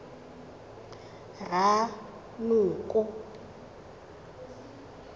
ranoko